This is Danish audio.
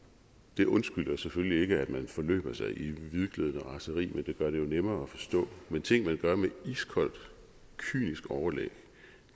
det undskylder selvfølgelig ikke at man forløber sig i hvidglødende raseri men det gør det jo nemmere at forstå men ting man gør med iskold kynisk overlæg